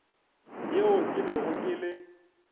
yeo ke bego ke le